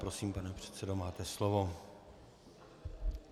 Prosím, pane předsedo, máte slovo.